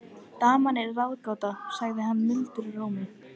Daman er ráðgáta, sagði hann mildum rómi.